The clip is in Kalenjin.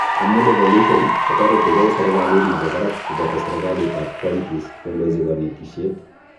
Amu devolution ,kotoretigei serikalit nebo barak koboto serikalitab counties kondochi konetishet